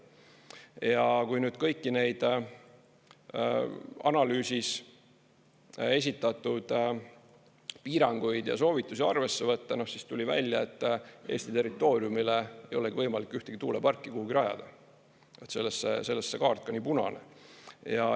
Ja kui nüüd kõiki neid analüüsis esitatud piiranguid ja soovitusi arvesse võtta, siis tuli välja, et Eesti territooriumile ei olegi võimalik ühtegi tuuleparki kuhugi rajada, sellest see kaart ka nii punane.